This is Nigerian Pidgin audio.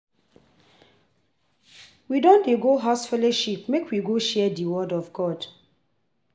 We don dey go House fellowship make we go share di word of God.